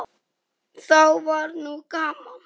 Þá var nú gaman.